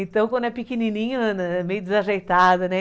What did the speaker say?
Então, quando é pequenininho, anda, é meio desajeitado, né?